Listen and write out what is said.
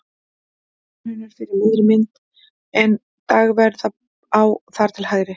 Háahraun er fyrir miðri mynd en Dagverðará þar til hægri.